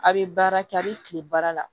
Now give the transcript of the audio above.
A' bɛ baara kɛ a bɛ kile baara la